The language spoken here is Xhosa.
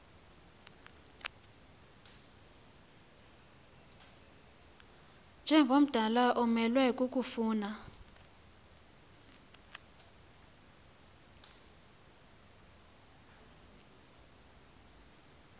njengomdala umelwe kukofuna